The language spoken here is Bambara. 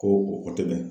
Ko o dɛmɛ